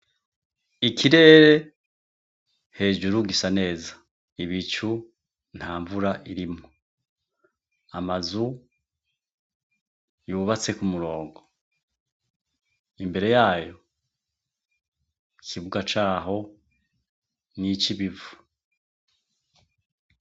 Ikirere hejuru gisa neza ibicu ntamvura irimwo amazu yubatse kumurongo imbere yaho ikibuga caho nicibivu